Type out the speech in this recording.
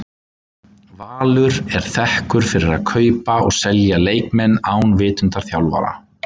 Valur er þekkur fyrir að kaupa og selja leikmenn án vitundar þjálfara.